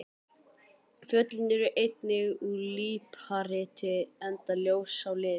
Fjöllin eru einnig úr líparíti enda ljós á lit.